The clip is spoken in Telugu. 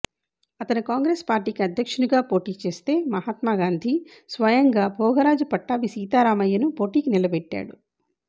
ఆతను కాంగ్రెస్ పార్టీకి అధ్యక్షునిగా పోటీ చేస్తే మహాత్మాగాంధీ స్వయంగా భోగరాజు పట్ట్భా సీతారామయ్యను పోటీకి నిలబెట్టాడు